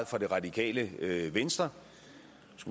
fra det radikale venstre